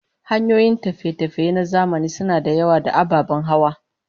Hanyoyin tafiye-tafiye na zamani suna da yawa, da ababen hawa